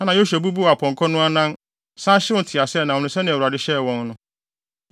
Ɛnna Yosua bubuu apɔnkɔ no anan, san hyew nteaseɛnam no sɛnea Awurade hyɛɛ wɔn no.